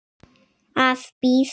Að bíða.